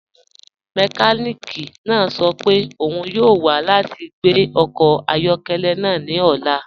Mẹkànìkì náà sọ́ pẹ́ ọ́un yọọ wa lati gbẹ ọkọ ayọkẹlẹ́ náà ni ọ̀la.